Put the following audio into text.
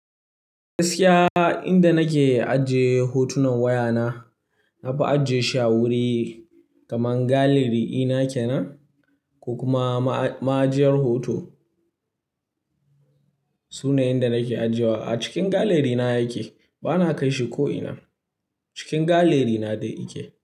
Gaskiya inda nake ajiye hotunan wayana, na fi ajiyeshi a wuri kaman gallery ɗina kenan ko kuma ma'ajiyar hoto. Inda nake ajiyewa a cikin gallery na yake, ba na kai shi ko ina. Cikin gallery na dai yake.